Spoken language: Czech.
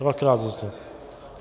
Dvakrát zazněl.